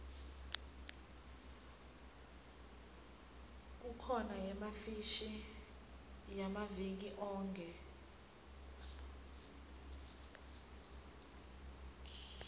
kukhona yefashini yamaviki onkhe